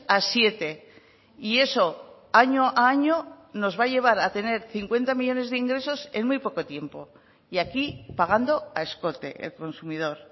a siete y eso año a año nos va a llevar a tener cincuenta millónes de ingresos en muy poco tiempo y aquí pagando a escote el consumidor